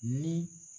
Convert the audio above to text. Ni